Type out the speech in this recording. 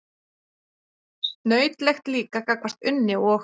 Snautlegt líka gagnvart Unni og